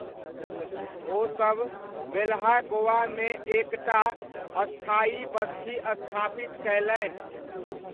ओसब वेल्हा गोवामे एक टा स्थायी बस्ती स्थापित कयलनि।